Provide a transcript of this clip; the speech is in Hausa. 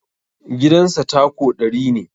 Gidan sa tako ɗari ne